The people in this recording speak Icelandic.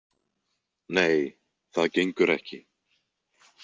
Nei, það gengur ekki.